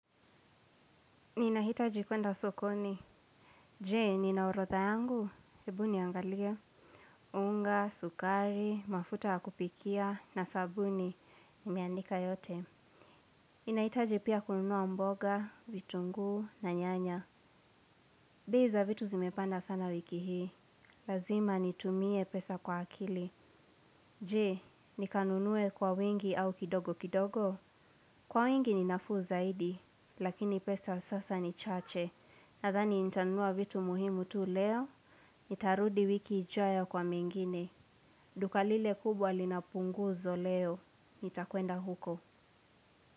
Ninahitaji kwenda sokoni. Jee, nina orodha yangu. Ebu niangalie. Unga, sukari, mafuta ya kupikia, na sabuni, nimeandika yote. Ninahitaji pia kununua mboga vitunguu na nyanya bei za vitu zimepanda sana wiki hii. Lazima nitumie pesa kwa akili. Jee, nikanunue kwa wingi au kidogo kidogo. Kwa wingi ni nafuu zaidi, lakini pesa sasa ni chache. Nadhani nitanua vitu muhimu tu leo, nitarudi wiki ijayo kwa mengine. Duka lile kubwa lina punguzo leo nitakwenda huko.